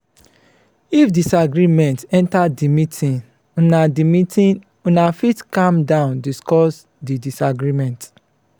if disagreement enter di meeting una di meeting una fit calm down discuss di disagreement